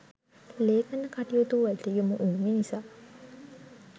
ලේඛන කටයුතුවලට යොමු වූ මිනිසා